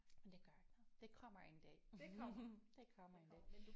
Men det gør ikke noget det kommer en dag det kommer en dag